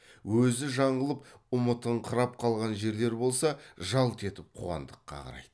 өзі жаңылып ұмытыңқырап қалған жерлер болса жалт етіп қуандыққа қарайды